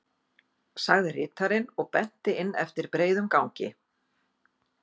sagði ritarinn og benti inn eftir breiðum gangi.